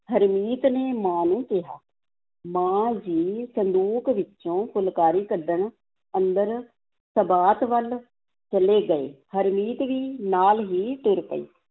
ਹਰਮੀਤ ਨੇ ਮਾਂ ਨੂੰ ਕਿਹਾ, ਮਾਂ ਜੀ ਸੰਦੂਕ ਵਿੱਚੋਂ ਫੁਲਕਾਰੀ ਕੱਢਣ ਅੰਦਰ ਸਬਾਤ ਵੱਲ ਚਲੇ ਗਏ, ਹਰਮੀਤ ਵੀ ਨਾਲ ਹੀ ਤੁਰ ਪਈ।